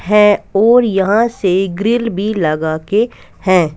है और यहां से ग्रिल भी लगा के हैं.